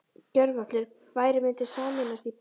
Gjörvallur bærinn mundi sameinast í bænastund.